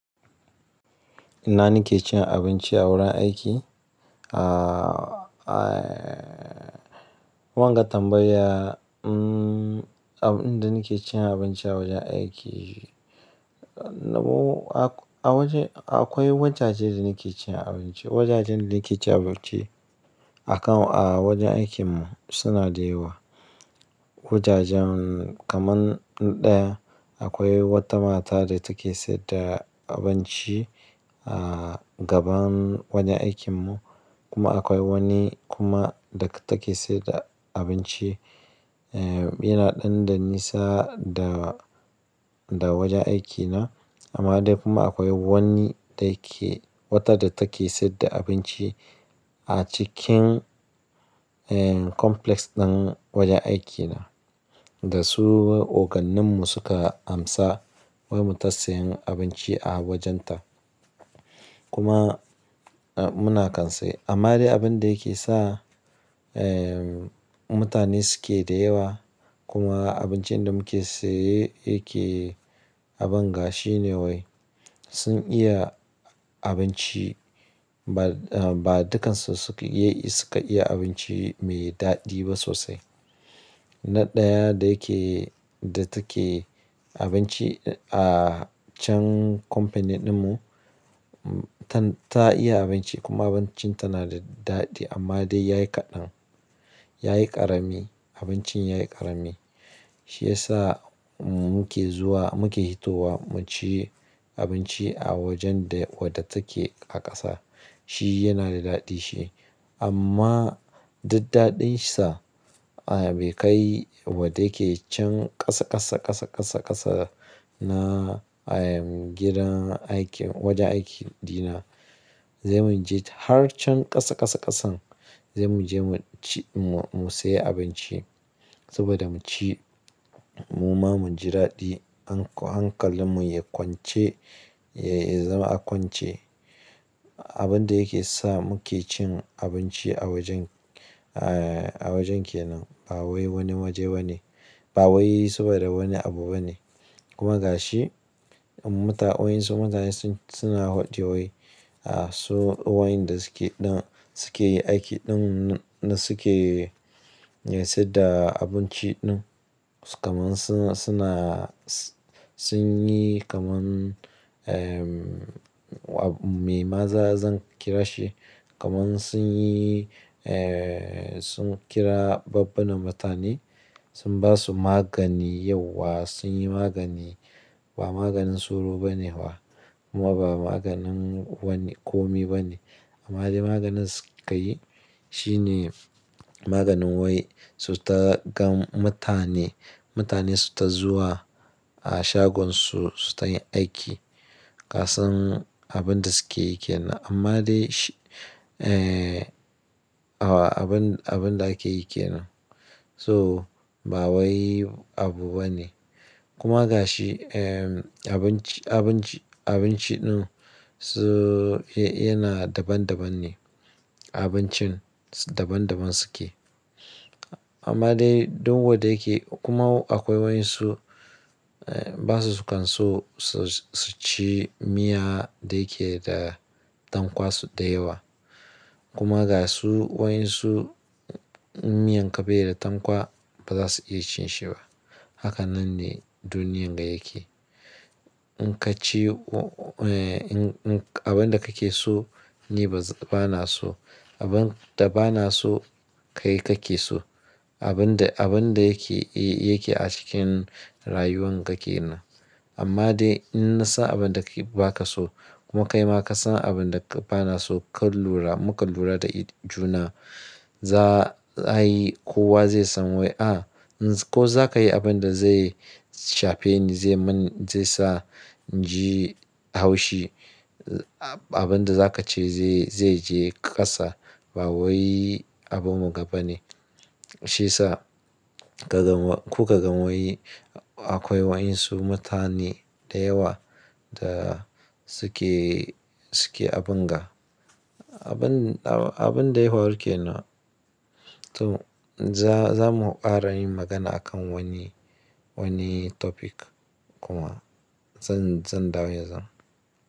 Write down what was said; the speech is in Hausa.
Ina ni ke cin abinci a wurin aiki? Ah, wanga tambaya. Mm, abin da nake cin abinci a wajen aiki. Na m- a wajen akwai wajaje da nake cin abinci. Wajajen da nake cin abinci a kan a wajen aikin mu suna da yawa. Wajajen kaman ɗaya akwai wata mata da take sayar da abinci, ah, gaban wajen aikin mu kuma akwai wani kuma da take sayar da abinci, eh, yana ɗan da nisa da, da wajen aikina. Amma dai kuma akwai wani da yake wata da take sayar da abinci a cikin, eh, complex ɗin wajen aikina. Da su ogannin mu suka amsa wai mu ta siyan abinci a wajen ta. Kuma muna kan saye amma dai abun da yake sa, eh, mutane suke da yawa kuma abincin da muke saye yake abun gashi ne wai sun iya abinci ba, ba dukansu suka iya suka iya abinci mai daɗi ba sosai. Na ɗaya da yake da take abinci a can company ɗin mu ta, ta iya abinci kuma abincin ta na da daɗi amma dai yayi kaɗan. Yayi ƙarami, abincin yayi ƙarami. Shi yasa muke zuwa muke hitowa mu ci abinci a wajen da wadda take a ƙasa. Shi yana da daɗi shi. Amma dud daɗin sa, ai bai kai wadda yake can ƙasa ƙasa ƙasa ƙasa ƙasa na, ayy, gidan aikin wajen aikin ɗina. Zai mu je har can ƙasa ƙasa ƙasan zai mu je mu ci mu, mu sayi abinci saboda mu ci mu ma mu ji daɗi. Hankalin mu ya kwance ya, ya zama a kwance. Abin da yake sa muke cin abinci a wajen, ah, a wajen kenan ba wai wani waje ba ne. Ba wai saboda wani abu ba ne. Kuma ga shi, muta wa'insu mutane sun, suna hwadi wai, ah, su wa'inda suke ɗan suke yi aiki ɗin na suke, eh, sayar da abinci ɗin kaman suna, suna sun yi kaman, eh, me maza zan kira shi? Kaman sun yi, eh, sun kira babbunan mutane sun ba su magani yauwa sun yi magani ba maganin tsoro ba ne fa kuma ba maganin wani ƙomi ba ne. Amma dai maganin su ka yi shine maganin wai su ta gan mutane, mutane su ta zuwa a shagon su suta yin aiki. Kasan abun da suke yake nan. Amma dai shi, eh, abun, abun da ake yi kenan so ba wai abu bane. Kuma ga shi, eh, abinci, abinci, abinci ɗin su yana daban daban ne. Abincin daban daban suke. Amma dai duk wadda yake kuma akwai wa'insu, eh, basu su kan so su, su ci miya da yake da dankwasu da yawa. Kuma ga su wa'insu in miyan ka beda tankwa ba za su iya cin shi ba. Haka nan ne duniyan ga yake. In ka ci, eh, abun da kake so ni ba, ba na so. Abun da ba na so kai kake so. Abun da, abun da yake, eh, yake a cikin rayuwan kake nan. Amma dai in na san abun da ka ba ka so kuma kai ma ka san abun da ba na so ka lura muka lura da juna za'a yi kowa zai san wai a ko za ka yi abun da zai shafeni zai man zai sa inji haushi. Abun da za ka ce zai, zai je ƙasa ba wai abun mun ga bane. Shiyasa ka gan kuka gan wai akwai wa'insu mutane da yawa da suke, suke abunga Abun, abun dai hwaru kenan to za, za mu ƙara yin magana akan wani, wani topic kuma zan, zan dawo yanzu.